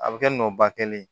A bɛ kɛ nɔ ba kelen ye